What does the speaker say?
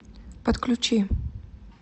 подключи